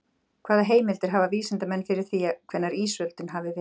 Hvaða heimildir hafa vísindamenn fyrir því hvenær ísöldin hafi verið?